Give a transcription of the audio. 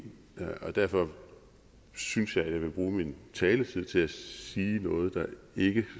derfor synes jeg at jeg vil bruge min taletid til at sige noget der ikke